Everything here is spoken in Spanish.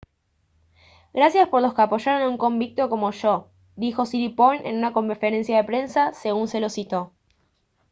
«gracias por los que apoyaron a un convicto como yo» dijo siriporn en una conferencia de prensa según se lo citó